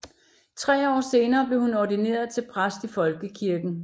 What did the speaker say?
Tre år senere blev hun ordineret til præst i Folkekirken